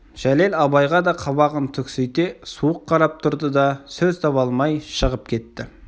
жәлел абайға да қабағын түксите суық қарап тұрды да сөз таба алмай шығып кетті